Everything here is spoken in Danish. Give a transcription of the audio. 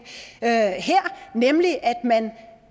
her nemlig at man